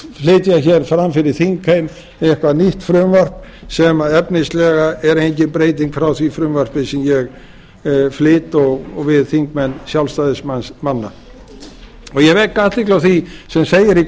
flytja hér fram fyrir þingheim eitthvað nýtt frumvarp sem efnislega er engin breyting frá því frumvarpi sem ég flyt og við þingmenn sjálfstæðismanna ég vek athygli á því sem segir í